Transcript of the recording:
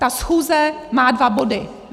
Ta schůze má dva body.